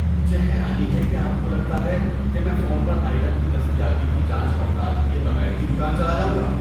مجھی حیرانی ہے کہ آپ کو لگتا ہے کہ میں فون پر آئٹم کی دستیابی کی جانچ پڑتال کیے بغیر ہی دکان چلا جاؤں گا۔